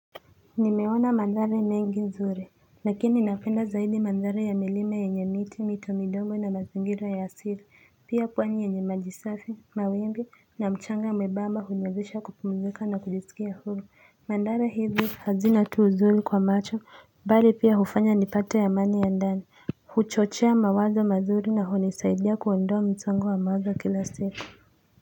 Nimeona mandhari mengi nzuri lakini napenda zaidi mandhari ya milima yenye miti, mito midongo na mazingira ya asili. Pia pwani yenye maji safi, mawimbi na mchanga mwebamba huniwezesha kupumzika na kujisikia hulu. Mandhari hizi hazina tu uzuri kwa macho, bali pia hufanya nipate amani ya ndani. Huchochea mawazo mazuri na hunisaidia kuondoa msongo wa mawazo kila siku.